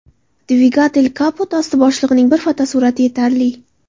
Dvigatel Kapot osti bo‘shlig‘ining bir fotosurati yetarli.